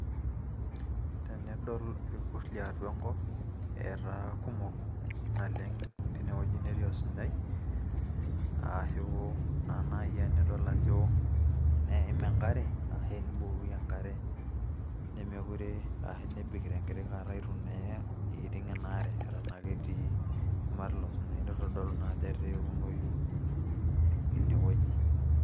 tenidol irkurt liatua enkop etaa kumok naleng tine wueji netii osunyai aashu naa naaji enidol ajo eneim enkare arashu enibukoki enkare nemekure aashu neebik tenkiti kata itu naa iiting ina are eton ake etii shumata ilo sunyai nitodolu naa ajo etaa eunoyu inewueji.